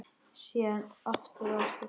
Síðan aftur og aftur.